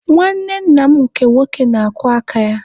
Nwanne nna m nke nwoke na-akwọ aka ya.